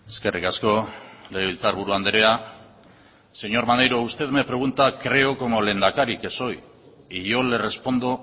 eskerrik asko legebiltzarburu andrea señor maneiro usted me pregunta creo como lehendakari que soy y yo le respondo